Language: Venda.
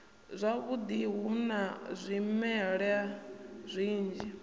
zwavhudi hu na zwimela zwinzhi